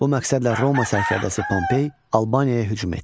Bu məqsədlə Roma sərkərdəsi Pompey Albaniyaya hücum etdi.